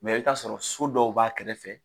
i bi t'a sɔrɔ so dɔw b'a kɛrɛfɛ.